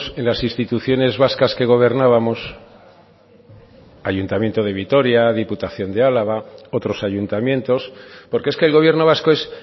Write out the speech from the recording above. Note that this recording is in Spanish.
en las instituciones vascas que gobernábamos ayuntamiento de vitoria diputación de álava otros ayuntamientos porque es que el gobierno vasco es